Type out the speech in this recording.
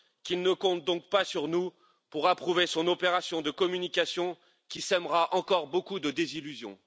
Qu'il ne compte donc pas sur nous pour approuver son opération de communication qui sèmera encore beaucoup de désillusions.